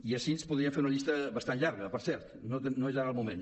i així podríem fer una llista bastant llarga per cert no és ara el moment